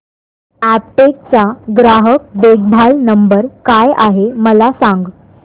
Aptech चा ग्राहक देखभाल नंबर काय आहे मला सांग